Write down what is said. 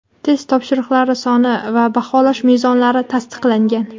test topshiriqlari soni va baholash mezonlari tasdiqlangan.